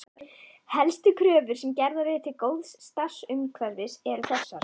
Helstu kröfur sem gerðar eru til góðs starfsumhverfis eru þessar